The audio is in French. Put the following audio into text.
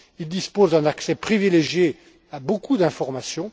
Il dispose d'un accès privilégié à beaucoup d'informations.